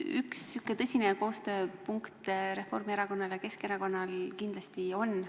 Üks koostööpunkt Reformierakonnal ja Keskerakonnal kindlasti on.